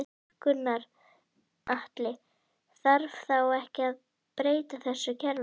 Gunnar Atli: Þarf þá ekki að breyta þessu kerfi?